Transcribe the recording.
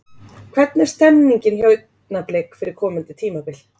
Hvernig er stemningin hjá Augnablik fyrir komandi tímabil?